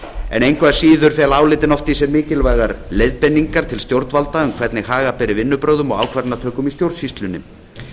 en engu að síður fela álitin oft í sér mikilvægar leiðbeiningar til stjórnvalda um hvernig haga beri vinnubrögðum og ákvarðanatökum í stjórnsýslunni